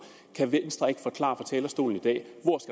kan venstre ikke forklare talerstolen i dag